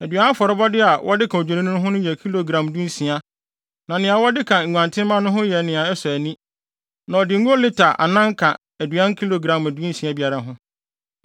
Aduan afɔrebɔde a wɔde ka Odwennini no ho yɛ kilogram dunsia, na nea wɔde ka nguantenmma no ho yɛ nea ɛsɔ ani, na ɔde ngo lita anan ka aduan kilogram dunsia biara ho.